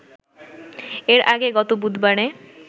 এর আগে গত বুধবারে